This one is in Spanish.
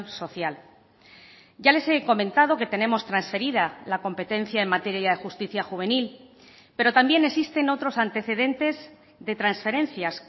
social ya les he comentado que tenemos transferida la competencia en materia de justicia juvenil pero también existen otros antecedentes de transferencias